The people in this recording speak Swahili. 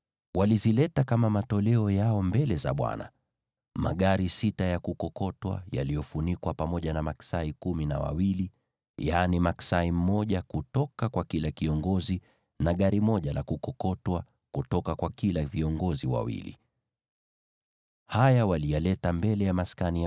Walizileta kama matoleo yao mbele za Bwana : magari sita ya kukokotwa yaliyofunikwa, pamoja na maksai kumi na wawili; yaani maksai mmoja kutoka kwa kila kiongozi, na gari moja la kukokotwa kutoka kwa kila viongozi wawili. Haya waliyaleta mbele ya Maskani.